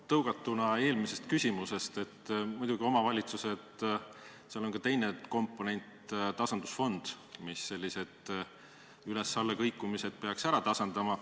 Tõuget saanuna eelmisest küsimusest: muidugi on omavalitsustel ka teine komponent, tasandusfond, mis sellised üles-alla kõikumised peaks ära tasandama.